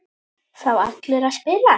Fá allir að spila?